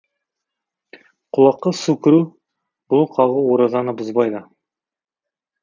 құлаққа су кіру бұлық ағу оразаны бұзбайды